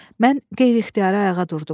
Mən qeyri-ixtiyari ayağa durdum.